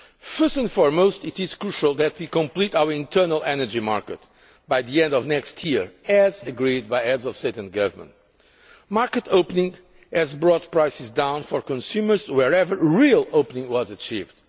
First and foremost, it is crucial that we complete our internal energy market by the end of next year, as agreed by heads of state or government. Market opening has brought prices down for consumers wherever real opening was achieved.